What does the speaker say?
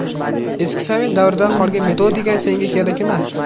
Eski sovet davridan qolgan metodika senga kerak emas.